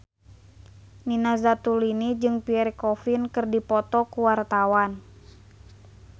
Nina Zatulini jeung Pierre Coffin keur dipoto ku wartawan